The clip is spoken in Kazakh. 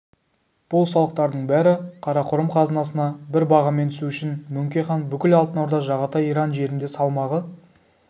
бұл салықтардың бәрі қарақұрым қазынасына бір бағамен түсу үшін мөңке хан бүкіл алтын орда жағатай иран жерінде салмағы